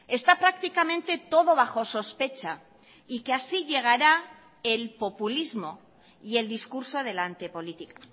está prácticamente todo bajo sospecha y que así llegará el populismo y el discurso de la antepolítica